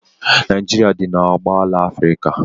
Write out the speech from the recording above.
Naijiria dị n'oboala Afrịka.